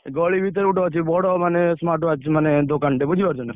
ଗଳି ଭିତରେ ଗୋଟେ ଅଛି ବଡ ମାନେ smartwatch ମାନେ ଦୋକାନଟେ ବୁଝିପାରୁଛନା?